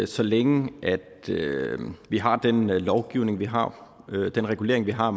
så længe vi har den lovgivning vi har den regulering vi har